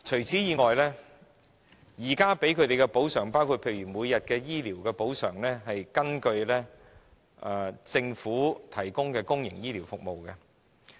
此外，現時向他們提供的補償——包括每天醫療費用的補償——是根據政府提供的公營醫療服務費用計算。